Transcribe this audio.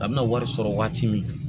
A bɛna wari sɔrɔ waati min